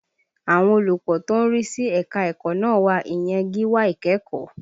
Àwọn olùkọ́ tó ń rí sí ẹ̀ka ẹ̀kọ́ náà wà, ìyẹn gíwá ìkẹ́kọ̀ọ́